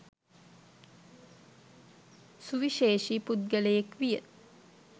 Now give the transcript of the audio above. සුවිශේෂී පුද්ගලයෙක් විය.